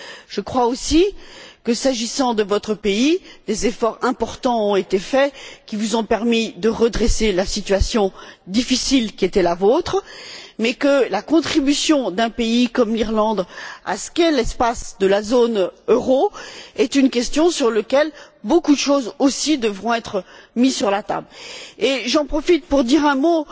Je crois aussi que, s'agissant de votre pays, des efforts importants ont été accomplis, qui vous ont permis de redresser la situation difficile qui était la vôtre, mais que la contribution d'un pays comme l'Irlande à ce qu'est l'espace de la zone euro est une question sur laquelle beaucoup de choses aussi devront être mises sur la table. J'en profite pour dire un mot